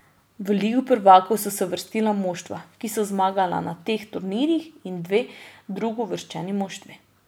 V Ligo prvakinj so se uvrstila moštva, ki so zmagala na teh turnirjih, in dve drugouvrščeni moštvi.